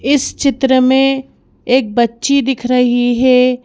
इस चित्र में एक बच्ची दिख रही है।